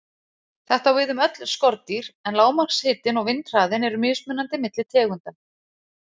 Þetta á við um öll skordýr, en lágmarkshitinn og vindhraðinn eru mismunandi milli tegunda.